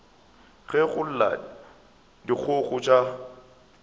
ge go lla dikgogo tša